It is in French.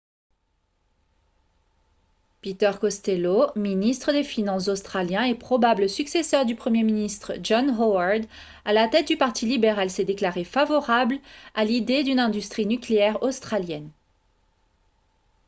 peter costello ministre des finances australien et probable successeur du premier ministre john howard à la tête du parti libéral s'est déclaré favorable à l'idée d'une industrie nucléaire australienne